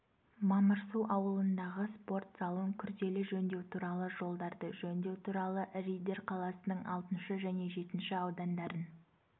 мамырсу ауылындағы спорт залын күрделі жөндеу туралы жолдарды жөндеу туралы риддер қаласының алтыншы және жетінші аудандарын